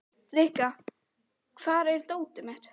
Rikka, hvar er dótið mitt?